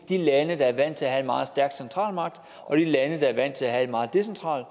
de lande der er vant til at have meget stærk centralmagt og de lande der er vant til at have et meget decentralt